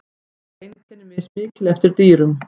þó eru einkenni mismikil eftir dýrum